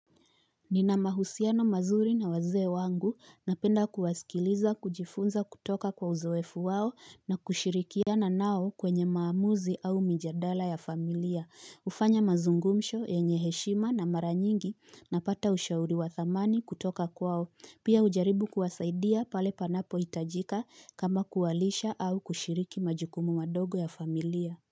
Nina mahusiano mazuri na wazee wangu, napenda kuwasikiliza, kujifunza kutoka kwa uzoefu wao na kushirikiana nao kwenye maamuzi au mijadala ya familia. Hufanya mazungumsho yenye heshima na mara nyingi napata ushauri wa dhamani kutoka kwao. Pia hujaribu kuwasaidia pale panapohitajika kama kuwalisha au kushiriki majukumu madogo ya familia.